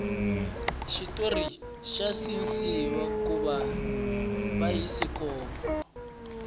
xitori xa cinciwa kuva bayisikopo